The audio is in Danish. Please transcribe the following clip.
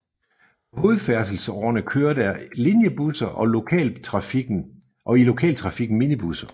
På hovedfærdselsårerne kører der linjebusser og i lokaltrafikken minibusser